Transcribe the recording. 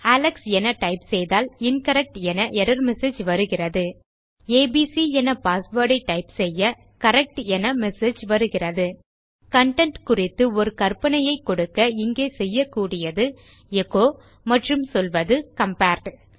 Alex என type செய்தால் incorrect என எர்ரர் மெசேஜ் வருகிறது ஏபிசி என பாஸ்வேர்ட் ஐ டைப் செய்ய கரெக்ட் என மெசேஜ் வருகிறது கன்டென்ட் குறித்து ஒரு கறபனையை கொடுக்க இங்கே செய்யக்கூடியது எச்சோ மற்றும் சொல்வது கம்பேர்ட்